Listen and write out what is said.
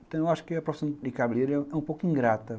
Então eu acho que a profissão de cabeleireiro é um pouco ingrata.